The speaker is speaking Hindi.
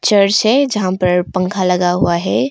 चर्च है जहां पर पंखा लगा हुआ है।